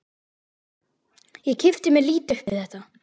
Ég kippti mér lítið upp við þetta.